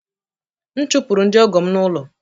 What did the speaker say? M chụpụrụ ndị ọgọ m n’ụlọ